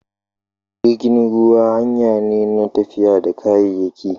Jirgin ruwa hanyane na tafiya da kayayyaki